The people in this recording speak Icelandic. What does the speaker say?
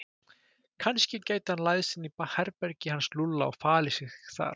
Kannski gæti hann læðst inn í herbergið hans Lúlla og falið sig þar.